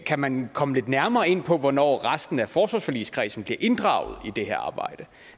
kan man komme lidt nærmere ind på hvornår resten af forsvarsforligskredsen bliver inddraget i det her arbejde